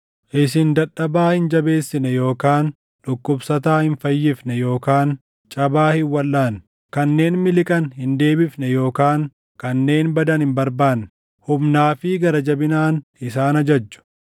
Isin dadhabaa hin jabeessine yookaan dhukkubsataa hin fayyifne yookaan cabaa hin walʼaanne. Kanneen miliqan hin deebifne yookaan kanneen badan hin barbaanne. Humnaa fi gara jabinaan isaan ajajju.